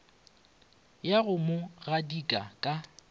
ya go mo gadika ka